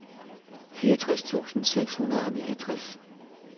fireogtres tusind seks hundrede og niogtres